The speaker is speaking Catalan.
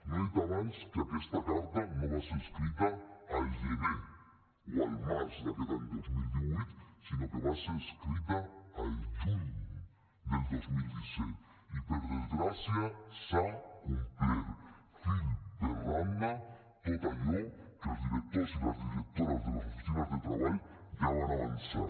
no he dit abans que aquesta carta no va ser escrita al gener o al març d’aquest any dos mil divuit sinó que va ser escrita al juny del dos mil disset i per desgràcia s’ha complert fil per randa tot allò que els directors i les directores de les oficines de treball ja van avançar